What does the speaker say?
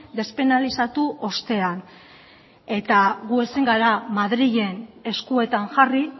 despenalizatu ostean eta gu ezin gara madrilen eskuetan jarri